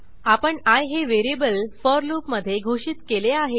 आपण आय हे variable for लूपमधे घोषित केले आहे